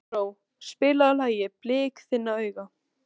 Erró, spilaðu lagið „Blik þinna augna“.